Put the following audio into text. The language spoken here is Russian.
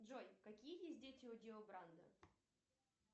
джой какие есть дети у дио брандо